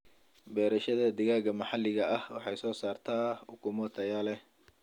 Beerashada digaaga maxaliga ahi waxay soo saartaa ukumo tayo leh.